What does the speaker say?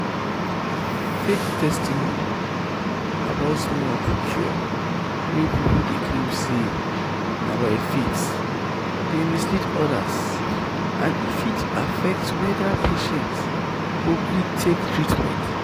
fake testimony about miracle cure wey people claim say na by faith dey mislead others and e fit affect whether patient go gree take treatment."